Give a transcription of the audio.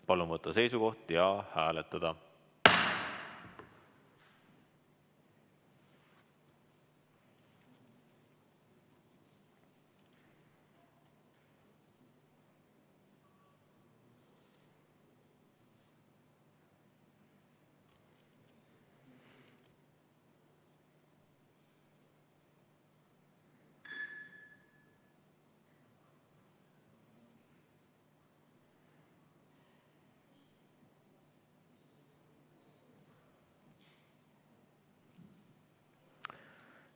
Palun võtta seisukoht ja hääletada!